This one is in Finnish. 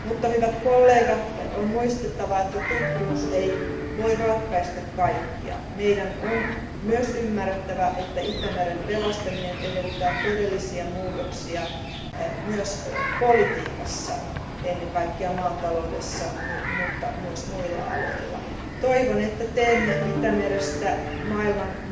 Hyvät kollegat, on kuitenkin muistettava, että tutkimus ei voi ratkaista kaikkea. Meidän on myös ymmärrettävä, että Itämeren pelastaminen edellyttää todellisia muutoksia myös politiikassa, ennen kaikkea maataloudessa, mutta myös muilla aloilla. Toivon, että teemme Itämerestä, joka on nyt yksi maailman